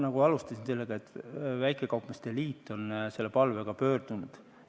Ma alustasin sellega, et väikekaupmeeste liit on selle palvega pöördunud.